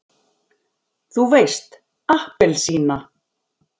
þú veist APPELSÍNA!